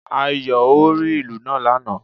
Ayò ó rí ìlù náà lánàà